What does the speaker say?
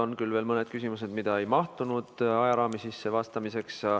On küll veel mõned küsimused, mis ei mahtunud ajaraami sisse vastamiseks.